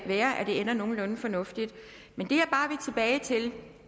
være at det ender nogenlunde fornuftigt men